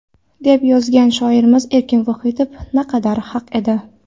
deb yozgan shoirimiz Erkin Vohidov naqadar haq edi.